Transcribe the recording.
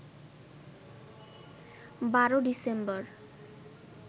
১২ December